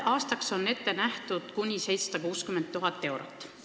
Aastaks on ette nähtud kuni 760 000 eurot.